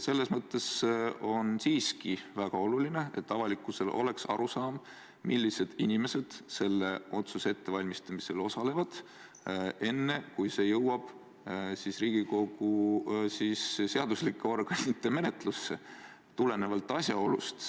Selles mõttes on siiski väga oluline, et avalikkusel oleks teada, millised inimesed selle otsuse ettevalmistamisel osalevad, enne kui see jõuab Riigikokku, seadusandliku organi menetlusse.